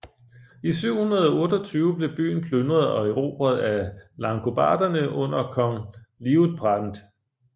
I 728 blev byen plyndret og erobret af langobarderne under kong Liutprand